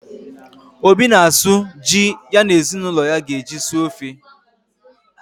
Obi na-asụ ji ya na ezinụlọ ya ga-eji suo ofe